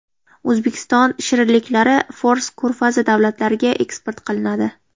O‘zbekiston shirinliklari Fors ko‘rfazi davlatlariga eksport qilinadi.